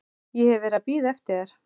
Ég hef verið að bíða eftir þér.